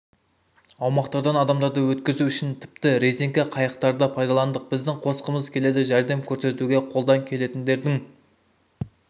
аумақтардан адамдарды өткізу үшін тіпті резеңке қайықтарды пайдаландық біздің қосқымыз келеді жәрдем көрсетуге қолдан келетіндердің